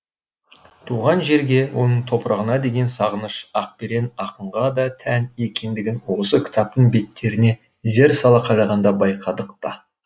туған жерге оның топырағына деген сағыныш ақберен ақынға да тән екендігін осы кітаптың беттеріне зер сала қарағанда байқадық та